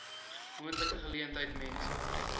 moontlike geleentheid mense